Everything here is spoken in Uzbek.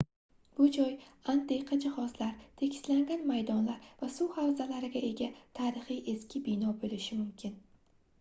bu joy antiqa jihozlar tekislangan maydonlar va suzish havzasiga ega tarixiy eski bino boʻlishi mumkin